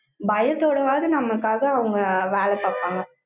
பயத்தோடவாவது, நமக்காக, அவங்க வேலை பார்ப்பாங்க.